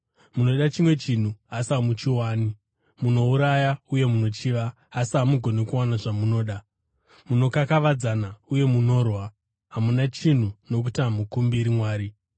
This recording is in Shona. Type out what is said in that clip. Munoda chimwe chinhu asi hamuchiwani. Munouraya uye munochiva, asi hamugoni kuwana zvamunoda. Munokakavadzana uye munorwa. Hamuna chinhu, nokuti hamukumbiri Mwari.